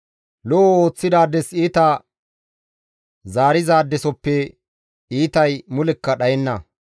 Lo7o ooththidaades iita zaarizaadesoppe iitay mulekka dhayenna.